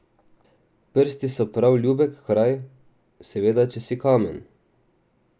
Prsti so prav ljubek kraj, seveda če si kamen.